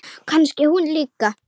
Kannski hún líka?